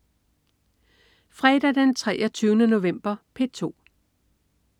Fredag den 23. november - P2: